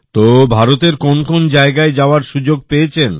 তো ভারতের কোন কোন জায়গায় যাওয়ার সুযোগ পেয়েছেন